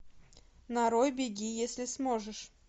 нарой беги если сможешь